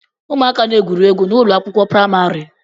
Ụmụaka na-egwu egwuregwu n'ụlọ akwụkwọ praịmarị